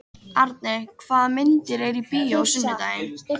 Arney, hvaða myndir eru í bíó á sunnudaginn?